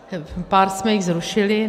Pár jsme jich zrušili.